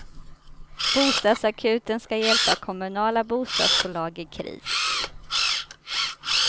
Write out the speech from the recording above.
Bostadsakuten ska hjälpa kommunala bostadsbolag i kris.